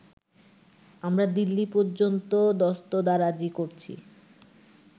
আমরা দিল্লী পর্যন্ত দস্তদারাজী করছি